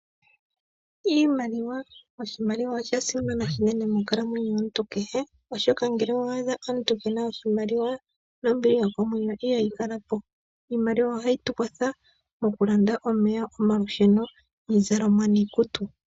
Iimaliwa Oshimaliwa osha simana unene monkalamwenyo yomuntu kehe, oshoka ngele owa adha omuntu kee na oshimaliwa nombili yokomwenyo ihayi kala po. Iimaliwa ohayi tu kwatha okulanda omeya, omalusheno, iizalomwa niikutu.